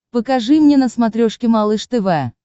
покажи мне на смотрешке малыш тв